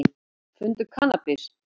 Fundu kannabis